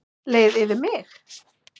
Leið yfir mig?